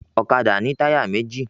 Ọ̀kadà ni táyà méjì